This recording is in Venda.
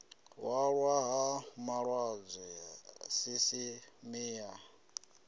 hwalwa ha malaṱwa sisiṱeme ya